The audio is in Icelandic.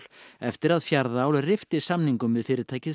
eftir að Fjarðaál rifti samningum við fyrirtækið